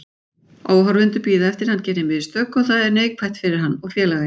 Áhorfendur bíða eftir að hann geri mistök og það er neikvætt fyrir hann og félagið.